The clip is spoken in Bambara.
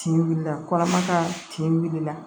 Tin wilila kɔnɔma ka kin wulila